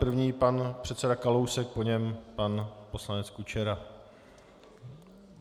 První pan předseda Kalousek, po něm pan poslanec Kučera.